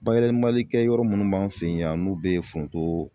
Bayɛlɛmali kɛ yɔrɔ munnu b'an fɛ yan n'u be forontoo